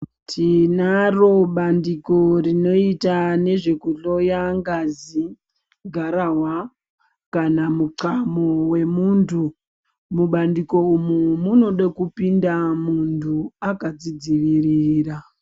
Tinaro bandiko rinoita nezvekuhloya ngazi garahwa kana muthkamu wemuntu mubandiko umu munoda kupinda muntu akazvidzivirira.